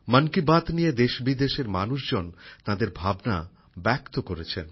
মন কি বাত নিয়ে দেশবিদেশের মানুষজন তাঁদের ভাবনা ব্যক্ত করেছেন